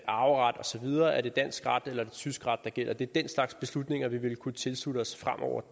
arveret og så videre er det dansk ret eller tysk ret der gælder det er den slags beslutninger vi ville kunne tilslutte os fremover